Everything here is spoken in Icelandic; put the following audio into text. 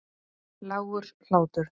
Lágur hlátur.